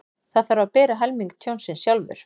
Þarf að bera helming tjónsins sjálfur